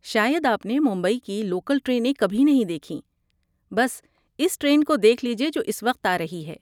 شاید آپ نے ممبئی کی لوکل ٹرینیں کبھی نہیں دیکھیں، بس اس ٹرین کو دیکھ لیجیے جو اس وقت آ رہی ہے۔